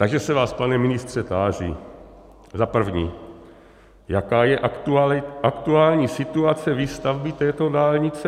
Takže se vás, pane ministře, táži, za první: Jaká je aktuální situace výstavby této dálnice?